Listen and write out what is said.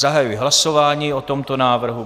Zahajuji hlasování o tomto návrhu.